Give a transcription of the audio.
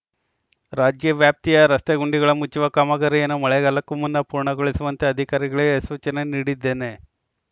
ರಾಜ್ಯ ವ್ಯಾಪ್ತಿಯ ರಸ್ತೆ ಗುಂಡಿಗಳ ಮುಚ್ಚುವ ಕಾಮಗಾರಿಯನ್ನು ಮಳೆಗಾಲಕ್ಕೂ ಮುನ್ನ ಪೂರ್ಣಗೊಳಿಸುವಂತೆ ಅಧಿಕಾರಿಗಳಿಗೆ ಸೂಚನೆ ನೀಡಿದ್ದೇನೆ